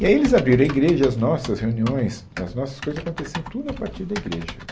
E aí eles abriram a igreja, as nossas reuniões, as nossas coisas aconteciam tudo a partir da igreja.